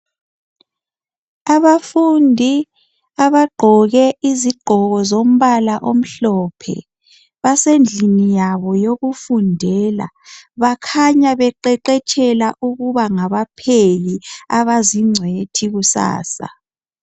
abafundi abagqoke izigqoko zombala omhlophe basendlini yabo yokufundela bakhanya beqeqetshela ukuba ngabapheki abazingcitshi kusasa